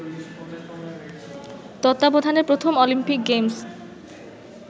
তত্বাবধানে প্রথম Olympic games